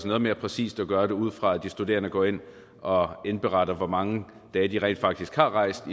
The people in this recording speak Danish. noget mere præcist at gøre det ud fra at de studerende går ind og indberetter hvor mange dage de rent faktisk har rejst